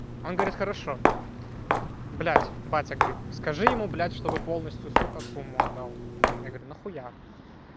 он говорит хорошо блять батя говорит скажи ему блять чтобы полностью сука сумму отдал я говорю нахуя